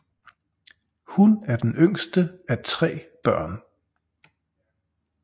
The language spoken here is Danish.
Hun er den yngste af tre børn